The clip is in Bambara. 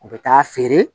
U bɛ taa feere